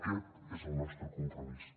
aquest és el nostre compromís